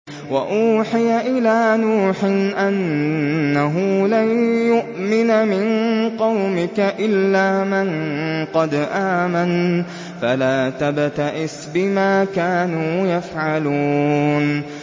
وَأُوحِيَ إِلَىٰ نُوحٍ أَنَّهُ لَن يُؤْمِنَ مِن قَوْمِكَ إِلَّا مَن قَدْ آمَنَ فَلَا تَبْتَئِسْ بِمَا كَانُوا يَفْعَلُونَ